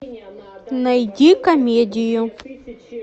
найди комедию